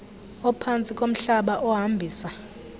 ophantsi komhlaba ohambisa